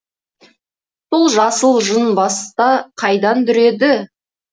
сол жасыл жын баста қайдан дүреді